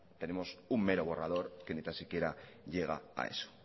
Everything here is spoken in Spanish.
tenemos un mero borrador que ni tan siquiera llega a eso